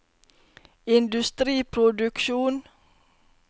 industriproduksjon